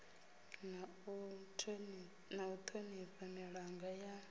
na u thonifha milanga ya